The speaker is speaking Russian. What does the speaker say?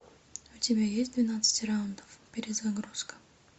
у тебя есть двенадцать раундов перезагрузка